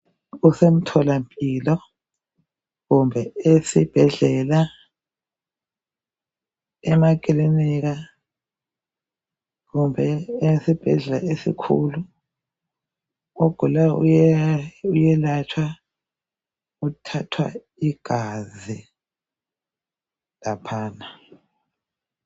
Kusemtholampilo, ekilinika kumbe esibhedlela esikhulu. Ogulayo uyelatshwa uthathwa igazi.